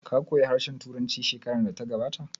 Ka koya harshen Turanci shekarar da ta gabata?